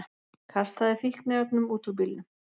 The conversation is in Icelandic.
Kastaði fíkniefnum út úr bílnum